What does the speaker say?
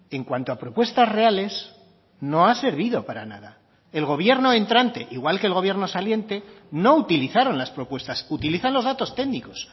en cuanto a propuestas reales no ha servido para nada el gobierno entrante igual que el gobierno saliente no utilizaron las propuestas utilizan los datos técnicos